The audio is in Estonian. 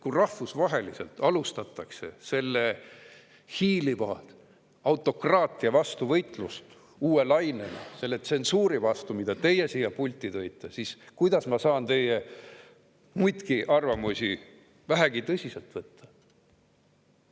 Kui rahvusvaheliselt alustatakse selle hiiliva autokraatia vastu võitlust uue lainena, selle tsensuuri vastu, mille teie siia pulti tõite, siis kuidas saan ma teie muidki arvamusi vähegi tõsiselt võtta?